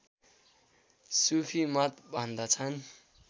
सूफी मत भन्दछन्